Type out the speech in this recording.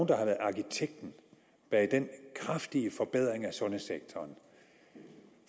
der har været arkitekten bag den kraftige forbedring af sundhedssektoren med